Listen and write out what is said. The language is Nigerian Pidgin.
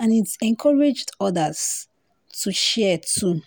and it encouraged odas to share too.